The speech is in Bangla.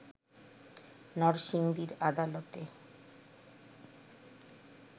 নরসিংদীর আদালতে